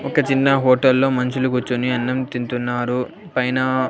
ఒక చిన్న హోటల్లో మనుషులు కూర్చుని అన్నం తింటున్నారు పైన.